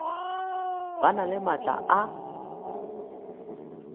ba na le maatla a